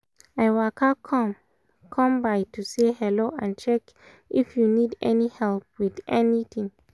i waka come by to say hello and check if you need help with anything